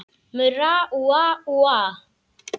Murra úa, úa, úa.